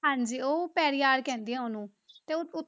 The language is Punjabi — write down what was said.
ਹਾਂਜੀ ਉਹ ਪੈਰੀਆਰ ਕਹਿੰਦੇ ਆ ਉਹਨੂੰ ਤੇ ਉਹ,